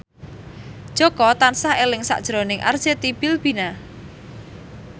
Jaka tansah eling sakjroning Arzetti Bilbina